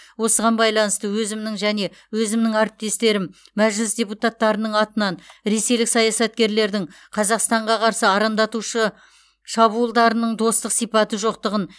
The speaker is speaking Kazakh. осыған байланысты өзімнің және өзімнің әріптестерім мәжіліс депутаттарының атынан ресейлік саясаткерлердің қазақстанға қарсы арандатушы шабуылдарының достық сипаты жоқтығын